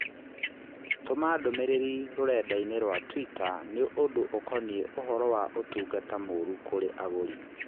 tũma ndũmīrīri rũrenda-inī rũa tũita nī ũnd ũkonĩĩ ũhoro wa ũtungata mũũru kũrĩ agũri